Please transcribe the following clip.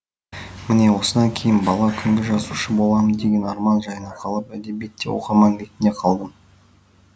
міне осыдан кейін бала күнгі жазушы боламын деген арман жайына қалып әдебиетте оқырман ретінде қалдым